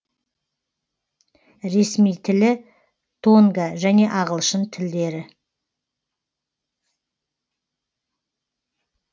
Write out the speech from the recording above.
ресми тілі тонга және ағылшын тілдері